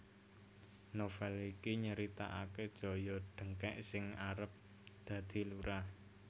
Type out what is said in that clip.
Novel iki nyritaake Joyo Dengkek sing arep dadi lurah